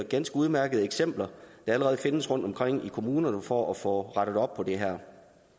ganske udmærkede eksempler der allerede findes rundtomkring i kommunerne for at få rettet op på det her